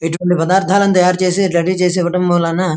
ఇటువంటి పదార్ధాలను తయారు చేసే రెడీ చేసి ఇవ్వడం వలన --